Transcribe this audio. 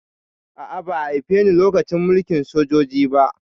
A'a, ba haife ni lokacin mulkin sojoji ba